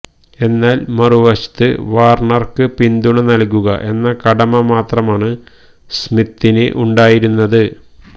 എന്നാല് മറുവശത്ത് വാര്ണര്ക്ക് പിന്തുണ നല്കുക എന്ന കടമ മാത്രമാണ് സ്മിത്തിന് ഉണ്ടായിരുന്നത്